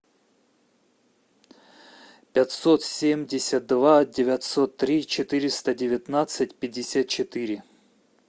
пятьсот семьдесят два девятьсот три четыреста девятнадцать пятьдесят четыре